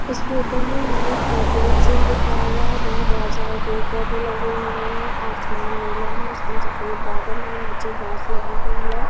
इस फोटो में हमें एक नेचुरल सीन दिखाया गया है जहां बहुत सारे पेड़-पौधे लगे हुए हैं आसमान नीला है उसमें सफेद बादल है नीचे घास लगी हुई है।